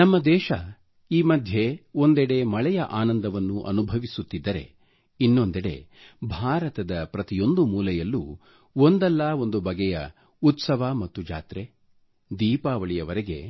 ನಮ್ಮ ದೇಶ ಈ ಮಧ್ಯೆ ಒಂದೆಡೆ ಮಳೆಯ ಆನಂದವನ್ನು ಅನುಭವಿಸುತ್ತಿದ್ದರೆ ಇನ್ನೊಂದೆಡೆ ಭಾರತದ ಪ್ರತಿಯೊಂದು ಮೂಲೆಯಲ್ಲೂ ಒಂದಲ್ಲಾ ಒಂದು ಬಗೆಯ ಉತ್ಸವ ಮತ್ತು ಜಾತ್ರೆ ದೀಪಾವಳಿವರೆಗೆ